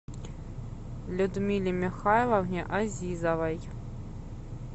людмиле михайловне азизовой